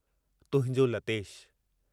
तुहिंजो लतेश।